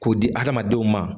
K'o di adamadenw ma